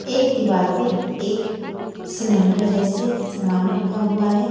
एक दीवार पे एक सिलेंडर जैसे सामान रखा हुआ है।